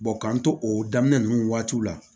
k'an to o daminɛ ninnu waatiw la